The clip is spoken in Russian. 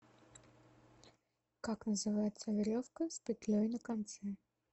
как называется веревка с петлей на конце